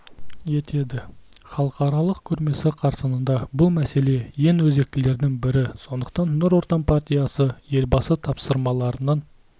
етеді халықаралық көрмесі қарсаңында бұл мәселе ең өзектілердің бірі сондықтан нұр отан партиясы елбасы тапсырмаларының